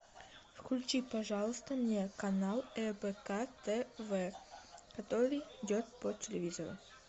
включи пожалуйста мне канал рбк тв который идет по телевизору